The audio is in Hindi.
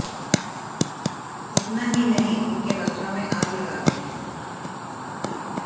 इतना ही नहीं उनके वस्त्रों में आग लगा गए